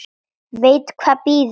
Veit hvað bíður.